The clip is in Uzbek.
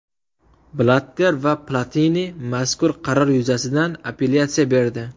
Blatter va Platini mazkur qaror yuzasidan appelyatsiya berdi.